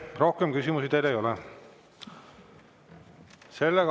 Rohkem küsimusi teile ei ole.